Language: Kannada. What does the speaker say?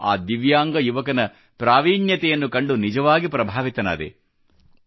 ನಾನು ಆ ದಿವ್ಯಾಂಗ ಯುವಕನ ಪ್ರಾವೀಣ್ಯತೆಯನ್ನು ಕಂಡು ನಿಜವಾಗಿ ಪ್ರಭಾವಿತನಾದೆ